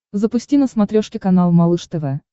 запусти на смотрешке канал малыш тв